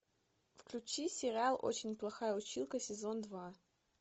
включи сериал очень плохая училка сезон два